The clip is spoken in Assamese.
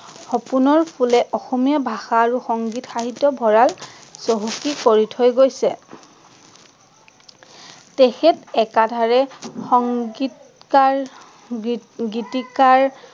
সপোনৰ ফুলে অসমীয়া ভাষা আৰু সংগীত সাহিত্যৰ ভৰাল চহকী কৰি থৈ গৈছে তেখেঁত একাধাৰে সংগীতকাৰ, গীত গীতিকাৰ